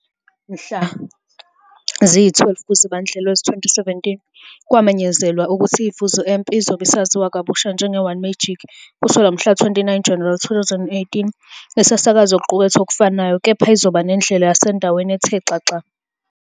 Mhla ziyi-12 kuZibandlela wezi-2017, kwamenyezelwa ukuthi iVuzu Amp izobe isaziwa kabusha njenge- One Magic kusukela ngomhlaka-29 Januwari 2018, isasakaza okuqukethwe okufanayo, kepha izoba nendlela yasendaweni ethe xaxa.